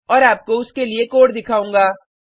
और आपको उस के लिए कोड दिखाऊँगा